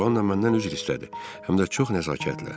Joanna məndən üzr istədi, həm də çox nəzakətlə.